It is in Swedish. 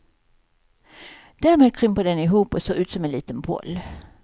Därmed krymper den ihop och ser ut som en liten boll.